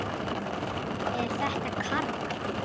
Er þetta Karl?